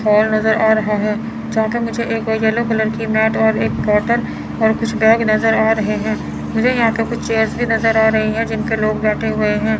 Hall नज़र आ रहा है यहां पे मुझे एक येलो कलर की मैट और एक बॉटल और कुछ बैग नज़र आ रहे हैं मुझे यहां पे कुछ चेयर्स भी नज़र आ रही है जिनपे लोग बैठे हुए हैं।